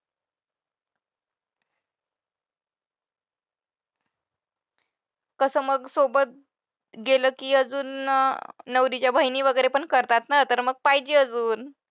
कसं मग सोबत गेलं की अजून नवरीच्या बहिणी वगैरे पण करतात ना तर मग पाहिजे अजून.